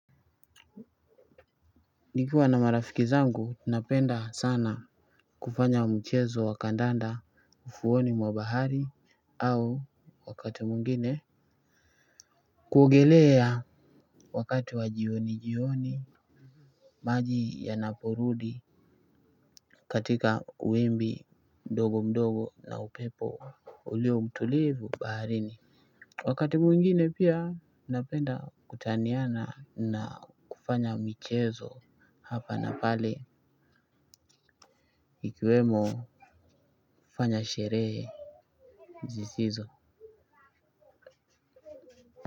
Nikiwa na marafiki zangu tunapenda sana kufanya mchezo wa kandanda ufuoni mwa bahari au wakati mwingine kuogelea wakati wa jioni jioni maji yanaporudi katika wimbi ndogo mdogo na upepo ulio mtulivu baharini wakati mwingine pia napenda kutaniana na kufanya michezo hapa na pale ikiwemo kufanya sherehe zisizo.